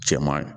Cɛman